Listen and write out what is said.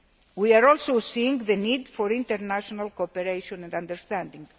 We are also seeing the need for international cooperation and understanding.